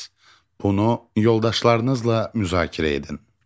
Bunu yoldaşlarınızla müzakirə edin.